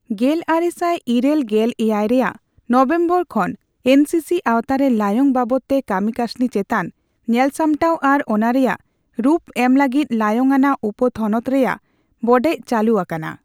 ᱜᱮᱞ ᱟᱨᱮᱥᱟᱭ ᱤᱨᱟᱹᱞ ᱜᱮᱞ ᱮᱭᱟᱭ ᱼᱨᱮᱭᱟᱜ ᱱᱚᱵᱷᱮᱢᱵᱚᱨ ᱠᱷᱚᱱ ᱮᱱ ᱥᱤ ᱥᱤ ᱟᱣᱛᱟᱨᱮ ᱞᱟᱭᱝ ᱵᱟᱵᱚᱛᱛᱮ ᱠᱟᱹᱢᱤᱠᱟᱥᱱᱤ ᱪᱮᱛᱟᱱ ᱧᱮᱞᱥᱟᱢᱴᱟᱣ ᱟᱨ ᱚᱱᱟ ᱨᱮᱭᱟᱜ ᱨᱩᱯ ᱮᱢ ᱞᱟᱹᱜᱤᱫ ᱞᱟᱭᱝᱼᱟᱱᱟᱜ ᱩᱯᱚᱼᱛᱷᱚᱱᱚᱛ ᱨᱮᱭᱟᱜ ᱵᱚᱰᱮᱡᱽ ᱪᱟᱹᱞᱩ ᱟᱠᱟᱱᱟ ᱾